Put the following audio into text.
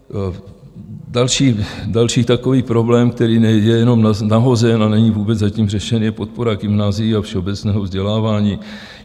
Další takový problém, který je jenom nahozen a není vůbec zatím řešen, je podpora gymnázií a všeobecného vzdělávání.